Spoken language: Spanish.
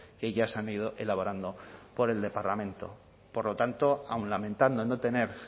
que ya se han ido elaborando por el departamento por lo tanto aun lamentando no tener